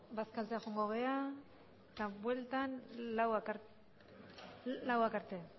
bazkaltzea joango gara eta bueltan laurak arte